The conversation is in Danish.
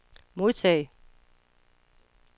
modtag